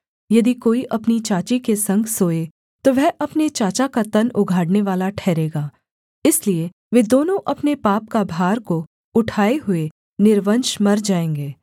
यदि कोई अपनी चाची के संग सोए तो वह अपने चाचा का तन उघाड़नेवाला ठहरेगा इसलिए वे दोनों अपने पाप का भार को उठाए हुए निर्वंश मर जाएँगे